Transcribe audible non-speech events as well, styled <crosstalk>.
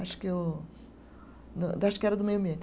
Acho que o <unintelligible> acho era do meio ambiente.